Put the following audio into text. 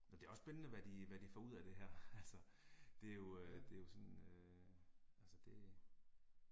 Men det er også spændende hvad de hvad de får ud af det her altså, det er jo øh, det er jo sådan øh, altså det